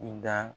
I da